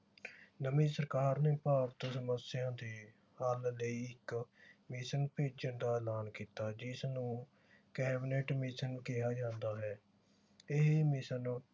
ਨਵੀ ਸਰਕਾਰ ਨੇ ਭਾਰਤ ਸਮੱਸਿਆ ਦੇ ਹਲ ਲਈ ਇਕ ਮਿਸ਼ਨ ਭੇਜਨ ਦਾ ਐਲਾਨ ਕੀਤਾ ਜਿਸਨੂੰ ਕੈਬਨਿਟ mission ਕਿਹਾ ਜਾਂਦਾ ਹੈ ਇਹ ਮਿਸ਼ਨ